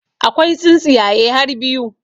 Akwai tsintsiyaye har biyu